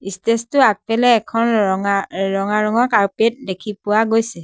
Stage টোৰ আগপিলে এখন ৰঙা অ ৰঙা ৰঙৰ কাৰ্পেট দেখি পোৱা গৈছে।